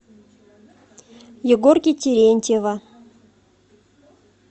егорки терентьева